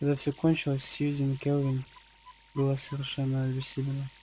когда всё кончилось сьюзен кэлвин была совершенно обессилена